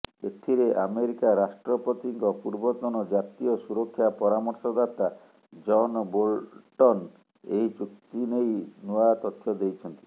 ଏଥିରେ ଆମେରିକା ରାଷ୍ଟ୍ରପତିଙ୍କ ପୂର୍ବତନ ଜାତୀୟ ସୁରକ୍ଷା ପରାମର୍ଶଦାତା ଜନ ବୋଲ୍ଟନ ଏହି ଚୁକ୍ତିନେଇ ନୂଆ ତଥ୍ୟ ଦେଇଛନ୍ତି